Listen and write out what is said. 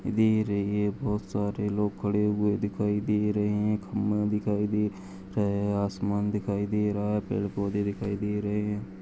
दे रहे हैं बहुत सारे लोग खड़े हुए दिखाई दे रहे हैं खंभा दिखाई दे रहे हैं और आसमान दिखाई दे रहा है पेड़ पौधे दिखाई दे रहे--